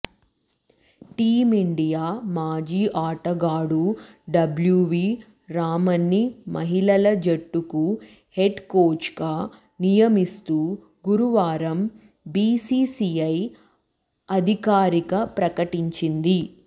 team India మాజీ ఆటగాడు W V రామన్ని మహిళల జట్టుకు హెడ్ కోచ్గా నియమిస్తూ గురువారం బీసీసీఐ అధికారిక ప్రకటించింది